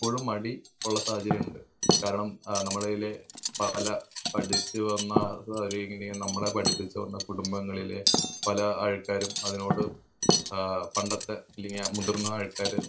ഇപ്പോഴും മടി ഉള്ള സാഹചര്യം ഉണ്ട്. കാരണം ആഹ് നമ്മളിതിലെ ആഹ് പല ഇങ്ങനെ നമ്മളെ പഠിപ്പിച്ച് തന്ന കുടുംബങ്ങളിലെ പല ആൾക്കാരും അതിനോട് ആഹ് പണ്ടത്തെ അല്ലെങ്കി ആ മുതിർന്ന ആള്ക്കാര്